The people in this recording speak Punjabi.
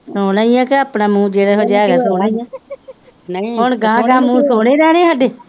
ਸੋਹਣਾ ਹੀ ਹੈ ਕਿ ਆਪਣਾ ਮੂੰਹ ਜਿਹੋ ਜਿਹਾ ਹੈਗਾ ਸੋਹਣਾ ਹੀ ਹੈ, ਨਹੀਂ ਹੁਣ ਅਗਾਂਹ ਅਗਾਂਹ ਮੂੰਹ ਸੋੇਹਣੇ ਰਹਿਣੇ ਹੈ ਸਾਡੇ